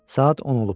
Saat 10 olub.